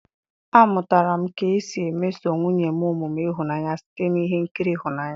A mụtara m ka m si emeso nwunye m omume ịhụnanya site na ihe nkiri ịhụnanya.